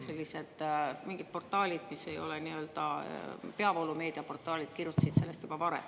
Ent mingid portaalid, mis ei ole nii-öelda peavoolumeedia portaalid, kirjutasid sellest juba varem.